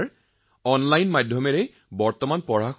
হয় মহোদয় বঢ়িয়াকৈ হৈ আছে এতিয়া আমাৰ ছোৱালীজনীয়ে পঢ়ি আছে